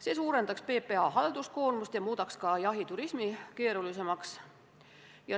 See suurendaks PPA halduskoormust ja muudaks jahiturismi keerulisemaks.